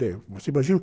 Você imagina o...